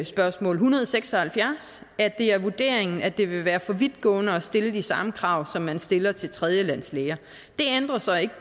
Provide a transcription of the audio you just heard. spørgsmål en hundrede og seks og halvfjerds at det er vurderingen at det vil være for vidtgående at stille de samme krav som man stiller til tredjelandslæger det ændrer så ikke